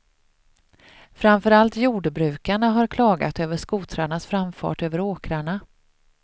Framför allt jordbrukarna har klagat över skotrarnas framfart över åkrarna.